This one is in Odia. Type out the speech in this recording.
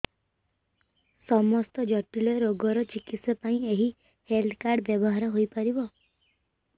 ସମସ୍ତ ଜଟିଳ ରୋଗର ଚିକିତ୍ସା ପାଇଁ ଏହି ହେଲ୍ଥ କାର୍ଡ ବ୍ୟବହାର ହୋଇପାରିବ